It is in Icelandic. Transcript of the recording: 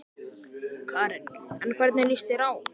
Karen: En hvernig lýst þér á?